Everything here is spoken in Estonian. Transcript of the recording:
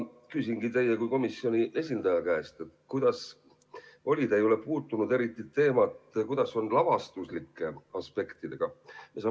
Küsingi teie kui komisjoni esindaja käest, et kuidas oli lavastuslike aspektidega, te ei puudutanud eriti seda teemat.